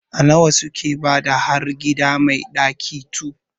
A nawa suke bada har gida mai ɗaki 2?